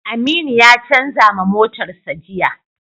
Aminu ya canza ma motarsa ​​jiya.